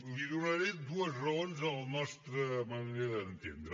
li donaré dues raons de la nostra manera d’entendre